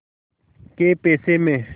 कै पैसे में